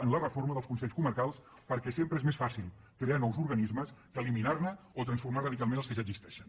en la reforma dels consells comarcals perquè sempre és més fàcil crear nous organismes que eliminarne o transformar radicalment els que ja existeixen